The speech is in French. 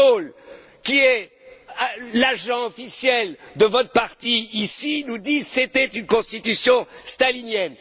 M. Daul, qui est l'agent officiel de votre parti ici, nous dit C'était une Constitution stalinienne.